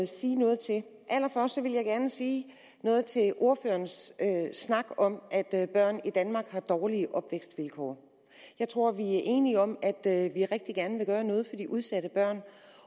sige noget til allerførst vil jeg gerne sige noget til ordførerens snak om at børn i danmark har dårlige opvækstvilkår jeg tror vi er enige om at vi rigtig gerne vil gøre noget for de udsatte børn